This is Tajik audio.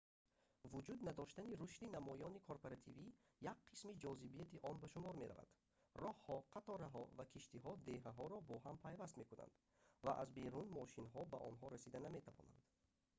вуҷуд надоштани рушди намоёни корпоративӣ як қисми ҷозибияти он ба шумор меравад роҳҳо қатораҳо ва киштиҳо деҳаҳоро бо ҳам пайваст мекунанд ва аз берун мошинҳо ба онҳо расида наметавонанд